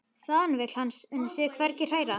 Þaðan vill hann sig hvergi hræra.